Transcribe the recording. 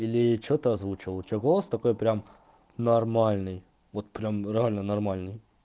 или что-то озвучивал у тебя голос такой прям нормальный вот прям реально нормальный